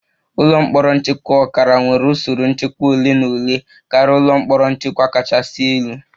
Ụlọ mkpọrọ nchekwa ọkara nwere usoro nchekwa ole na ole karịa ụlọ mkpọrọ nchekwa kachasị elu